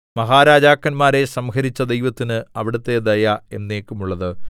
മഹാരാജാക്കന്മാരെ സംഹരിച്ച ദൈവത്തിന് അവിടുത്തെ ദയ എന്നേക്കുമുള്ളത്